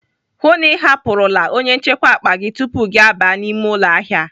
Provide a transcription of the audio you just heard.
Hụụ na Ị hapụrụla onye nchekwa akpa gị tupu gị aba n'ime ụlọ ahịa!